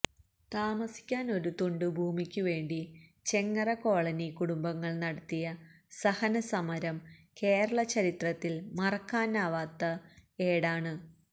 താമസിക്കാന് ഒരു തുണ്ടുഭൂമിക്കു വേണ്ടി ചെങ്ങറ കോളനി കുടുംബങ്ങള് നടത്തിയ സഹന സമരം കേരളചരിത്രത്തില് മറക്കാനാകാത്ത ഏടാണ്